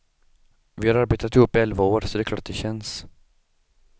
Vi har arbetat ihop i elva år, så det är klart att det känns.